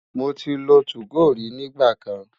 Mo ti lo 2go rí nígbà kan.